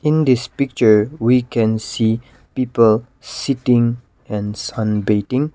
in this picture we can see people sitting and sunbaiting .